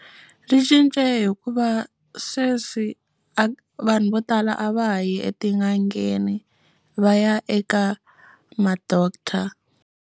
Byi cince hikuva sweswi vanhu vo tala a va ha yi etin'angeni va ya eka ma doctor.